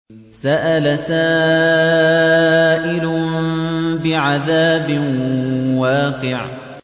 سَأَلَ سَائِلٌ بِعَذَابٍ وَاقِعٍ